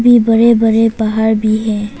ये बड़े बड़े पहाड़ भी हैं।